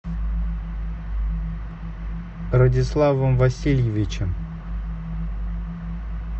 радиславом васильевичем